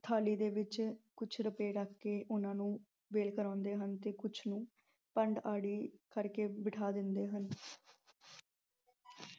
ਥਾਲੀ ਦੇ ਵਿੱਚ ਕੁੱਝ ਰੁਪਏ ਰੱਖ ਕੇ ਉਹਨਾਂ ਨੂੰ ਵੇਲ ਕਰਾਉਂਦੇ ਹਨ ਤੇ ਕੁੱਝ ਨੂੰ ਭੰਡ ਅੜੀ ਕਰਕੇ ਬਿਠਾ ਦਿੰਦੇ ਹਨ।